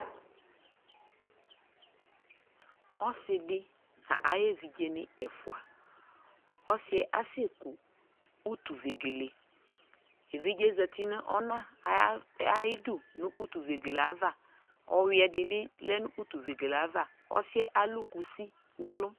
Ɔsi dι na yι ɛvidze ni ɛfua Ɔsi yɛ asi ku utu vegeleƐvidze zati nu ɔna ayi du nu utu vegele aya avaƆyʋɛ di bi ɔya nu utu vegele aya va Ɔsi yɛ alu kusi nɛ lu